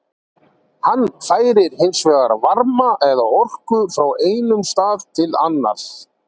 Hann færir hins vegar varma eða orku frá einum stað til annars.